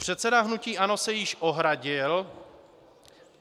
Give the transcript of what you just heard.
Předseda hnutí ANO se již ohradil.